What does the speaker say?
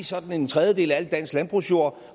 sådan en tredjedel af al dansk landbrugsjord